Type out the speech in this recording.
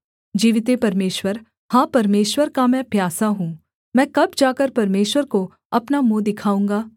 जीविते परमेश्वर हाँ परमेश्वर का मैं प्यासा हूँ मैं कब जाकर परमेश्वर को अपना मुँह दिखाऊँगा